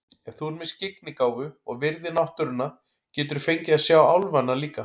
Ef þú ert með skyggnigáfu og virðir náttúruna geturðu fengið að sjá álfana líka.